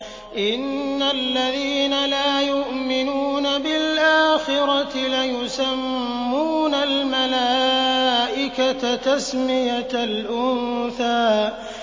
إِنَّ الَّذِينَ لَا يُؤْمِنُونَ بِالْآخِرَةِ لَيُسَمُّونَ الْمَلَائِكَةَ تَسْمِيَةَ الْأُنثَىٰ